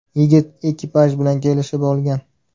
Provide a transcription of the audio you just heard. Yigit ekipaj bilan kelishib olgan.